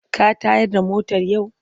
Ka tayar da motar yau?